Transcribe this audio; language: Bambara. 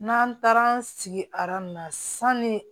N'an taara an sigi na sanni